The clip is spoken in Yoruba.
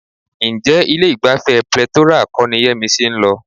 Ǹjẹ́ ilé-ìgbafẹ́ Plethora kọ́ ni Yẹ́misí ń lọ?